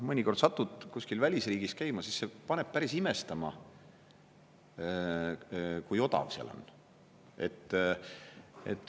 Mõnikord satud kuskil välisriigis käima, siis see paneb päris imestama, kui odav seal on.